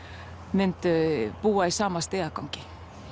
myndu búa í sama stigagangi